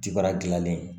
Cibaa gilannen